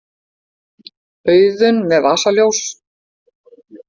Auðunn með vasaljós.